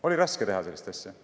Oli raske teha sellist asja?